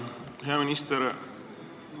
Hea minister!